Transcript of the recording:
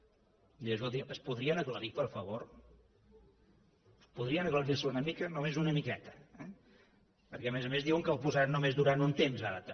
escoltin es podrien aclarir per favor podrien aclarir se una mica només una miqueta eh perquè a més a més diuen que el posaran només durant un temps ara també